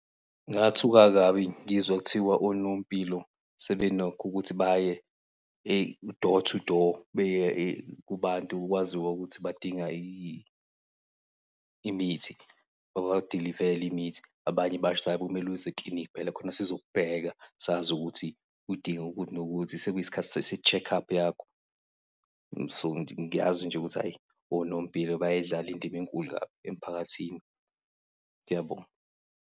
Ngathuka kabi ngizwa kuthiwa onompilo sebenakho ukuthi baye door to door, beye kubantu okwaziw ukuthi badinga imithi, babadilivele imithi. Abanye kumele uze ekilinikhi phela khona sizokubheka sazi ukuthi udinga ukuthi nokuthi, sekuyisikhathi se-check-up yakho. So, ngiyazi nje ukuthi ayi, onompilo bayayidlala indima enkulu kabi emphakathini. Ngiyabonga.